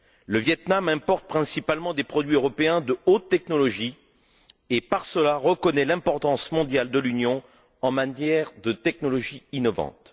Le Viêt Nam importe principalement des produits européens de haute technologie et, par cela, reconnaît l'importance mondiale de l'Union en matière de technologie innovante.